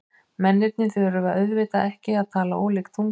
Mennirnir þurfa auðvitað ekki að tala ólík tungumál.